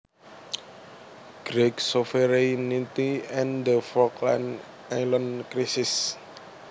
Greig Sovereignty and the Falkland Islands Crisis